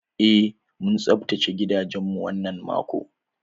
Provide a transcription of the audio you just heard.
Eh, mun tsaftace gidanmu wannan mako.